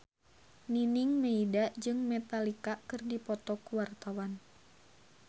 Nining Meida jeung Metallica keur dipoto ku wartawan